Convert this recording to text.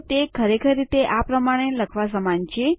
તો તે ખરેખર રીતે આ પ્રમાણે લખવા સમાન જ છે